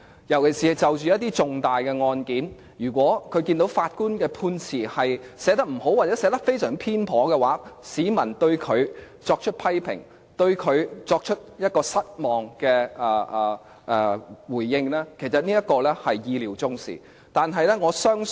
特別是就着一些重大的案件，如果他們看到法官的判詞寫得不好，又或寫得非常偏頗的話，市民會對法官作出批評，表示失望，其實這方面是意料中事。